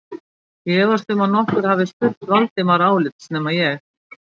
Ég efast um að nokkur hafi spurt Valdimar álits nema ég